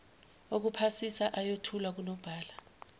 okuphasisa ayothulwa kunobhala